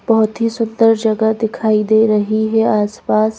बहोत ही सुंदर जगह दिखाई दे रही है आस पास--